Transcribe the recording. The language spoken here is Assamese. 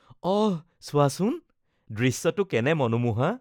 অহ, চোৱাচোন! দৃশ্যটো কেনে মনোমোহা